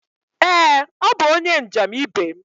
Ee, ọ bụ onye njem ibe m.